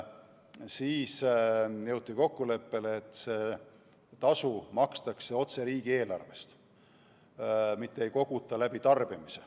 Siis jõuti kokkuleppele, et seda tasu makstakse otse riigieelarvest, mitte ei koguta läbi tarbimise.